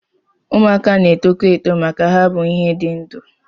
Ụmụaka na-etokwa eto maka na ha bụ ihe dị ndụ